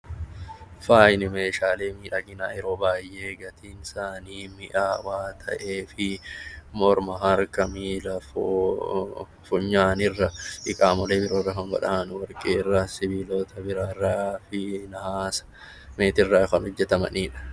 Faayi meeshaalee miidhaginaa yeroo baay'ee gatiinsaanii mihaawaa ta'ee fi morma, harka fi miila funyaan irra qaamolee biroo irra warqee irraa sibiilaa kan biraarraa fi hawaasa meetiirraa kan hojjetamanidha.